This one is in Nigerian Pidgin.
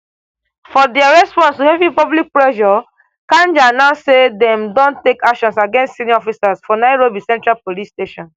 for dia response to heavy public pressure kanja announce say dem don take actions against senior officers for nairobi central police station